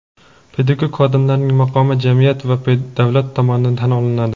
Pedagog xodimlarning maqomi jamiyat va davlat tomonidan tan olinadi.